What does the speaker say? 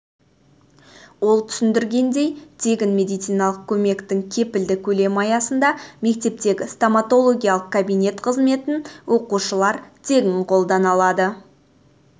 ол түсіндіргендей тегін медициналық көмектің кепілді көлемі аясында мектептегі стоматологиялық кабинет қызметін оқушылар тегін қолдана алады